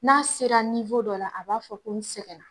N'a sera dɔ la a b'a fɔ ko n sɛgɛnna.